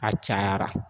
A cayara